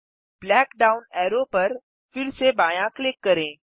black down arrow पर फिर से बायाँ क्लिक करें